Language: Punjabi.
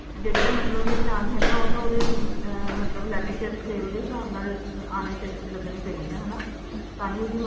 ਜਿਹੜੀਆਂ ਮਤਲਬ ਨਿਸ਼ਾਨ ਹੈਗੇ ਉਹ ਤਾਂ ਉਹਦੇ ਮਤਲਬ leg ਜਾ scale ਦੇ ਹਿਸਾਬ ਨਾਲ ਆਨੇ ਚਾਹੀਦੇ ਨੇ ਲੱਗਣੇ ਚਾਹੀਦੇ ਨੇ ਤਾਹੀ ਉਹਦੀ